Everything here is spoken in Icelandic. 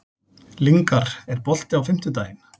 Lyngar, er bolti á fimmtudaginn?